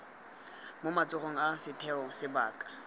mo matsogong a setheo sebaka